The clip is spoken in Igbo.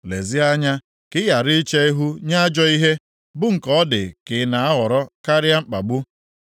Lezie anya, ka i ghara iche ihu nye ajọ ihe, bụ nke ọ dị ka ị na-ahọrọ karịa mkpagbu.